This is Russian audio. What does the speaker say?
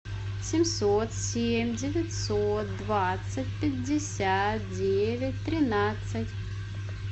семьсот семь девятьсот двадцать пятьдесят девять тринадцать